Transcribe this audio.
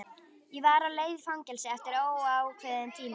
Ég var á leið í fangelsi eftir óákveðinn tíma.